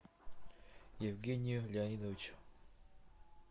евгению леонидовичу